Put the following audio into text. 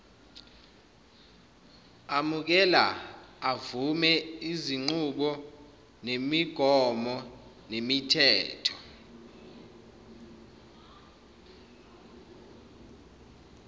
amukela avume izinqubomgomonemithetho